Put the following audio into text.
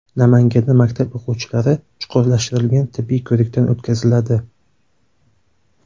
Namanganda maktab o‘quvchilari chuqurlashtirilgan tibbiy ko‘rikdan o‘tkaziladi.